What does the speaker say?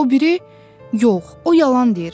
O biri: “Yox, o yalan deyir.